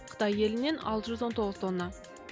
қытай елінен алты жүз он тоғыз тонна